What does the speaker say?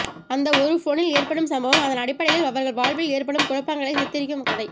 அந்த ஒரு போனில் ஏற்படும் சம்பவம் அதன் அடிப்படையில் அவர்கள் வாழ்வில் ஏற்படும் குழப்பங்களை சித்தரிக்கும் கதை